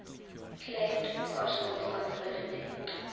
claimed partial responsibility